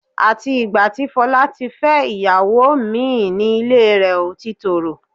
Àti ìgbà tí Fọlá ti fẹ́ ìyàwó mín ìn ni ilé rẹ̀ ò ti tòrò